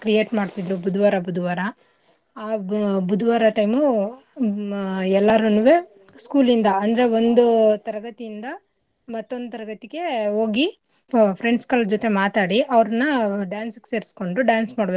Create ಮಾಡ್ತಿದ್ರು ಬುದುವಾರ ಬುದುವಾರ ಆಹ್ ಬುದುವಾರ time ಉ ಮ್ ಆಹ್ ಎಲ್ಲರನ್ನೂವೆ school ಯಿಂದ ಅಂದ್ರೆ ಒಂದು ತರಗತಿಯಿಂದ ಮತ್ತೊಂದು ತರಗತಿಗೆ ಓಗಿ friends ಗಳ್ ಜೊತೆ ಮಾತಾಡಿ ಅವ್ರ್ನ dance ಗ್ ಸೇರ್ಸ್ಕೊಂಡು dance ಮಾಡ್ಬೇಕು.